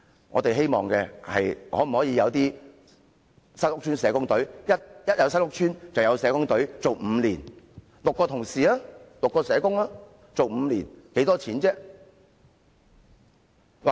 我們希望當局成立由6名社工組成的新屋邨社工隊，在每個新屋邨提供服務，為期5年。